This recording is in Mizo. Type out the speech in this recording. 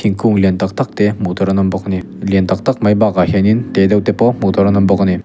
thingkung lian tak tak te hmuh tur an awm bawk ani lian tak tak mai bakah hianin te deuh te pawh hmuh tur an awm bawk ani.